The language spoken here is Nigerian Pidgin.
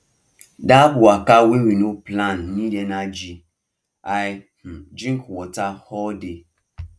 that waka wey we no plan need energy i um drink water all day